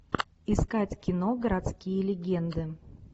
искать кино городские легенды